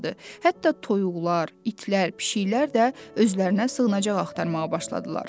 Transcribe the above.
Hətta toyuqlar, itlər, pişiklər də özlərinə sığınacaq axtarmağa başladılar.